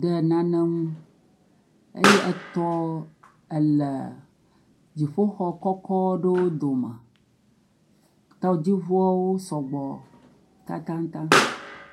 ɖe nane ŋu eye etɔ ele dziƒoxɔ kɔkɔ ɖoo dome, tɔdziŋuɔwo sɔ gbɔ tatataŋ.